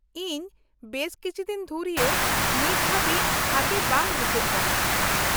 -ᱤᱧ ᱵᱮᱥ ᱠᱤᱪᱷᱤ ᱫᱤᱱ ᱫᱷᱩᱨᱭᱟᱹ ᱱᱤᱛ ᱦᱟᱵᱤᱡ ᱵᱷᱟᱜᱮ ᱵᱟᱝ ᱵᱩᱡᱷᱟᱹᱜ ᱠᱟᱱᱟ ᱾